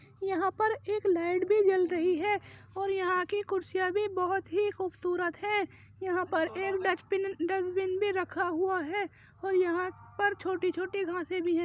यहां पर एक लाइट भी जल रही है और यहां की कुर्सियां भी बहोत ही खूबसूरत हैं। यहां पर एक डचबिन डसबीन भी रखा हुआ है और यहां पर छोटी-छोटी घासें भी हैं।